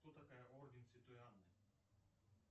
кто такая орден святой анны